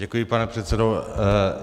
Děkuji, pane předsedo.